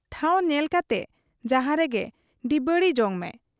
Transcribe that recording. ᱴᱷᱟᱶ ᱧᱮᱞ ᱠᱟᱛᱮ ᱡᱟᱦᱟᱸ ᱨᱮᱜᱮ ᱰᱤᱵᱟᱹᱲᱤ ᱡᱚᱝᱢᱮ ᱾